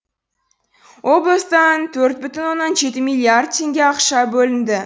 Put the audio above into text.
облыстан төрт бүтін оннан жеті милиллиард теңге ақша бөлінді